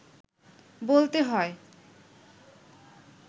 বলতে হয়